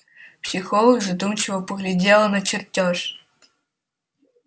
психолог задумчиво поглядела на чертёж